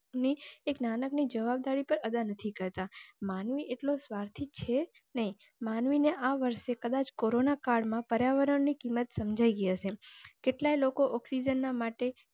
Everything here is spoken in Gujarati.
ની એક નાનકડી જવાબદારી પર અદા નથી કરતા. માનવી એટલો સ્વાર્થી છે નહિ. માનવીને આ વર્ષે કદાચ કોરોના કાળમાં પર્યાવરણની કિંમત સમજાઈ ગઈ હશે. કેટલા લોકો oxygen ના માટે?